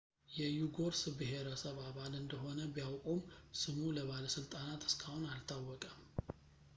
የዩጎርስ ብሄረሰብ አባል እንደሆነ ቢያውቁም ስሙ ለባለሥልጣናት እስካሁን አልታወቀም